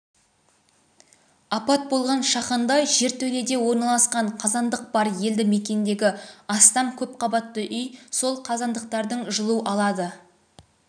апат болған шаханда жертөледе орналасқан қазандық бар елді мекендегі астам көпқабатты үй сол қазандықтардан жылу алады